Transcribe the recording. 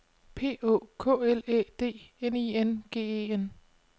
P Å K L Æ D N I N G E N